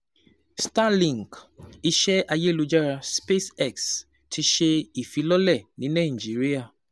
Starlink, iṣẹ́ ayelujara SpaceX ti ṣe ìfilọ́lẹ̀ ní Nigeria.